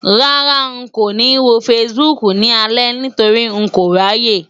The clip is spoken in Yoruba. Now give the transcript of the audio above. Rárá, n kò ní wo Facebook ni alẹ́ nítorí n kò ráyè.